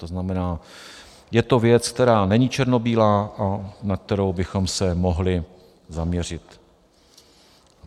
To znamená, je to věc, která není černobílá, a na kterou bychom se mohli zaměřit.